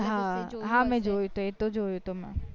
હા હા મેં જોયું હતું મ